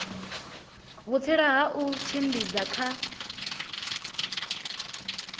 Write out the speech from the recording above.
vhutsila ha u tshimbidza kha